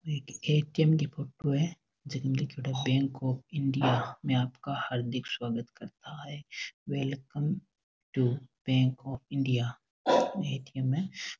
यह एक ए.टी.एम. की फोटो है जिसमें लिखा है बैंक आफ इंडिया आपका हार्दिक स्वागत करता है welcome to Bank of India ATM..